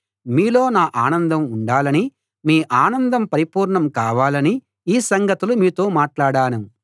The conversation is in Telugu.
మీలో నా ఆనందం ఉండాలని మీ ఆనందం పరిపూర్ణం కావాలని ఈ సంగతులు మీతో మాట్లాడాను